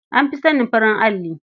An fi sanin farin alli.